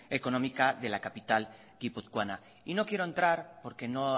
económica de la capital guipuzcoana y no quiero entrar porque no